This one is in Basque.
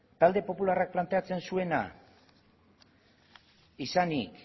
talde popularrak izanik